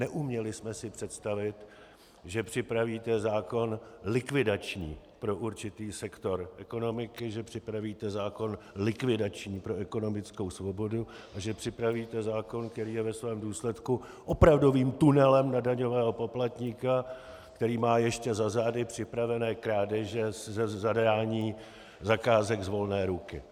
Neuměli jsme si představit, že připravíte zákon likvidační pro určitý sektor ekonomiky, že připravíte zákon likvidační pro ekonomickou svobodu a že připravíte zákon, který je ve svém důsledku opravdovým tunelem na daňového poplatníka, který má ještě za zády připravené krádeže ze zadání zakázek z volné ruky.